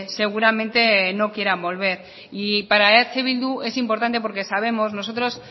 seguramente no quieran volver y para eh bildu es importante porque sabemos nosotros